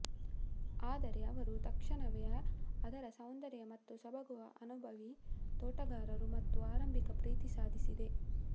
ಆದರೆ ಅವರು ತಕ್ಷಣವೇ ಅದರ ಸೌಂದರ್ಯ ಮತ್ತು ಸೊಬಗು ಅನುಭವಿ ತೋಟಗಾರರು ಮತ್ತು ಆರಂಭಿಕ ಪ್ರೀತಿ ಸಾಧಿಸಿದೆ